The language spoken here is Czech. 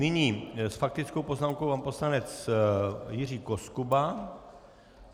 Nyní s faktickou poznámkou pan poslanec Jiří Koskuba.